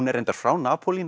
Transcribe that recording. er reyndar frá